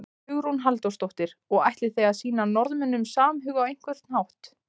Hugrún Halldórsdóttir: Og ætlið þið að sýna Norðmönnum samhug á einhvern hátt?